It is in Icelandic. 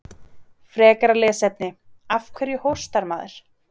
Frekara lesefni: Af hverju hóstar maður?